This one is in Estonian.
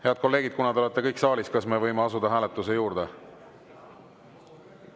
Head kolleegid, kuna te olete kõik saalis, kas me võime asuda hääletuse juurde?